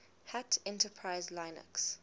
hat enterprise linux